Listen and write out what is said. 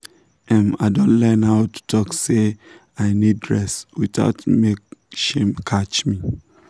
um i don learn how to talk say “i need rest” without make shame catch me